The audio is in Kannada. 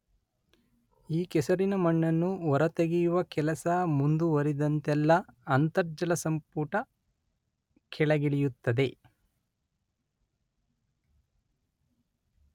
ಈ ಕೆಸರಿನ ಮಣ್ಣನ್ನು ಹೊರ ತೆಗೆಯುವ ಕೆಲಸ ಮುಂದುವರಿದಂತೆಲ್ಲ ಅಂತರ್ಜಲಸಂಪುಟ ಕೆಳಗಿಳಿಯುತ್ತದೆ.